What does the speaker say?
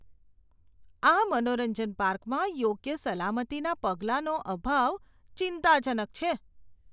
આ મનોરંજન પાર્કમાં યોગ્ય સલામતીના પગલાંનો અભાવ ચિંતાજનક છે.